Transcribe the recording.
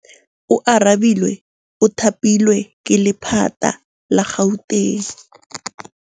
Oarabile o thapilwe ke lephata la Gauteng.